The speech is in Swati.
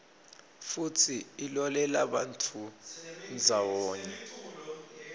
futsi ilolelabantfu ndzawonye